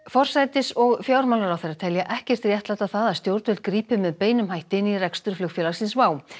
forsætis og fjármálaráðherra telja ekkert réttlæta það að stjórnvöld grípi með beinum hætti inn í rekstur flugfélagsins WOW